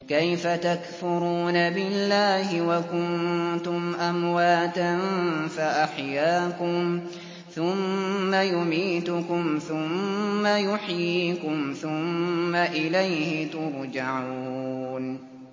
كَيْفَ تَكْفُرُونَ بِاللَّهِ وَكُنتُمْ أَمْوَاتًا فَأَحْيَاكُمْ ۖ ثُمَّ يُمِيتُكُمْ ثُمَّ يُحْيِيكُمْ ثُمَّ إِلَيْهِ تُرْجَعُونَ